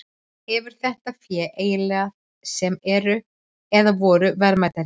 Hefur þetta fé eiginleika sem eru, eða voru, verðmætir?